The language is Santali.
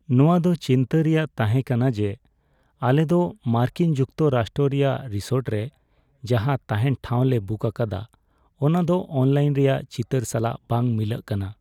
ᱱᱚᱶᱟ ᱫᱚ ᱪᱤᱱᱛᱟᱹ ᱨᱮᱭᱟᱜ ᱛᱟᱦᱮᱸ ᱠᱟᱱᱟ ᱡᱮ ᱟᱞᱮᱫᱚ ᱢᱟᱨᱠᱤᱱ ᱡᱩᱠᱛᱚᱨᱟᱥᱴᱨᱚ ᱨᱮᱭᱟᱜ ᱨᱤᱥᱚᱨᱴ ᱨᱮ ᱡᱟᱦᱟᱸ ᱛᱟᱦᱮᱱ ᱴᱷᱟᱶ ᱞᱮ ᱵᱩᱠ ᱟᱠᱟᱫᱟ ᱚᱱᱟ ᱫᱚ ᱚᱱᱞᱟᱭᱤᱱ ᱨᱮᱭᱟᱜ ᱪᱤᱛᱟᱹᱨ ᱥᱟᱞᱟᱜ ᱵᱟᱝ ᱢᱤᱞᱟᱹᱜ ᱠᱟᱱᱟ ᱾